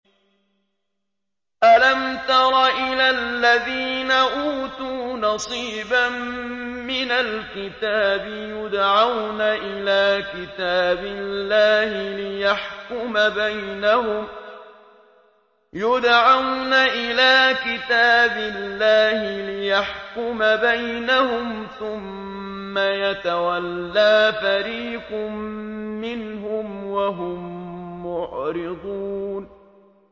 أَلَمْ تَرَ إِلَى الَّذِينَ أُوتُوا نَصِيبًا مِّنَ الْكِتَابِ يُدْعَوْنَ إِلَىٰ كِتَابِ اللَّهِ لِيَحْكُمَ بَيْنَهُمْ ثُمَّ يَتَوَلَّىٰ فَرِيقٌ مِّنْهُمْ وَهُم مُّعْرِضُونَ